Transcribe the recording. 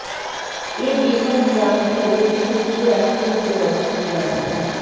এ বৃহৎ প্রান্তরে সূর্য এখনও যে অস্ত যায় না